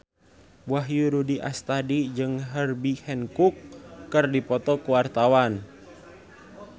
Wahyu Rudi Astadi jeung Herbie Hancock keur dipoto ku wartawan